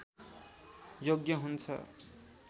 योग्य हुन्छ